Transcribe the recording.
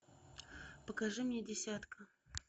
покажи мне десятка